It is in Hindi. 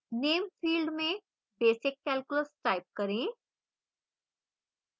name field में basic calculus type करें